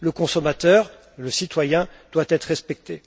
Le consommateur, le citoyen, doit être respecté.